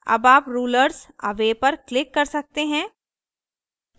अब आप rulers away पर click कर सकते हैं